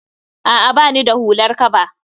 A'a bani da hular kaba